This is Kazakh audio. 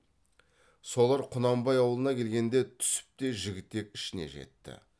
солар құнанбай аулына келгенде түсіп те жігітек ішіне жетті